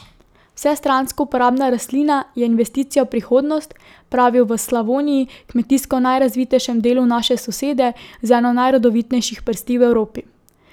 Vsestransko uporabna rastlina je investicija v prihodnost, pravijo v Slavoniji, kmetijsko najrazvitejšem delu naše sosede z eno najrodovitnejših prsti v Evropi.